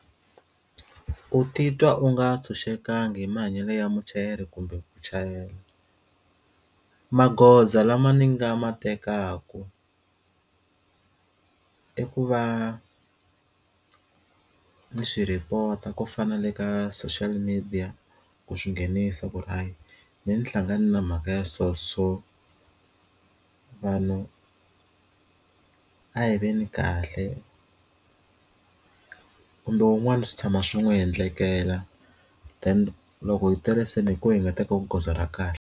Ku titwa u nga ntshunxekanga hi mahanyelo ya muchayeri kumbe ku chayela magoza lama ni nga ma tekaka i ku va ku ni swi rhipota ku fanele ka social media ku swinghenisa ku ri hayi mehe ni hlangana na mhaka ya so so vanhu a hi veni kahle kumbe wun'wani swi tshama swi n'wi endlekela then loko yi tele se hi koho hi nga teka goza ra kahle.